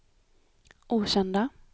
okända